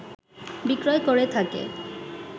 বিক্রয় করে থাকে